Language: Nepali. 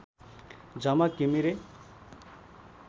झमक घिमिरे